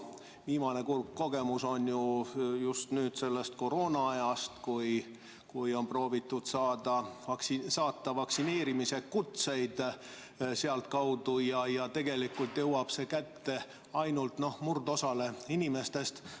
Viimane kurb kogemus on ju just nüüd sellest koroonaajast, kui on proovitud saata vaktsineerimise kutseid sealtkaudu ja tegelikult jõuab see kätte ainult murdosale inimestest.